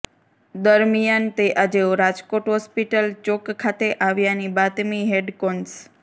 દરમિયાન તે આજે રાજકોટ હોસ્પિટલ ચોક ખાતે આવ્યાની બાતમી હેડકોન્સ